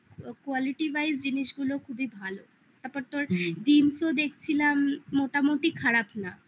quality wise জিনিসগুলো খুবই ভালো. ব্যাপারটা ওর jeans দেখছিলাম মোটামুটি খারাপ না